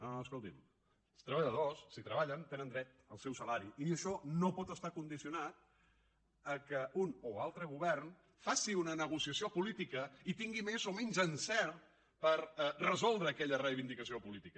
no no escoltin els treballadors si treballen tenen dret al seu salari i això no pot estar condicionat al fet que un o altre govern faci una negociació política i tingui més o menys encert per resoldre aquella reivindicació política